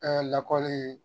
lakɔli